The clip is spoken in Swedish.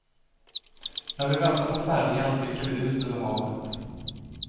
När vi väntar på färjan blickar vi ut över havet.